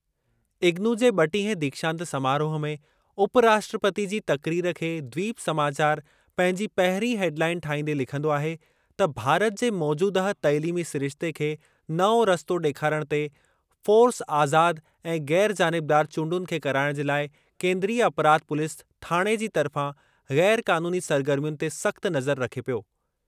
इग्नू जे ब॒टीहें दीक्षांत समारोह में उपराष्ट्रपति जी तक़रीर खे द्वीप समाचार पंहिंजी पहिरीं हेडलाइन ठाहींदे लिखंदो आहे त भारत जे मौजूदह तइलीमी सिरिश्ते खे नओं रस्तो डे॒खारणु ते फ़ॉर्स आज़ाद ऐं ग़ैरु जानिबदार चूंडुनि खे कराइणु जे लाइ केन्द्रीय अपराध पुलिस थाणे जी तर्फ़ां ग़ैरु क़ानूनी सरगर्मियुनि ते सख़्त नज़रु रखे पियो।